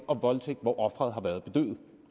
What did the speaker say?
og voldtægt hvor offeret har været bedøvet